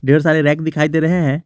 ढेर सारे रैक दिखाई दे रहे है।